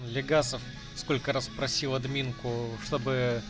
легасов сколько раз просил админку чтобы